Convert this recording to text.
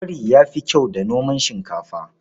Kwari ya fi kyau da noman shinkafa.